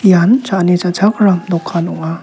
ian cha·ani cha·chakram dokan ong·a.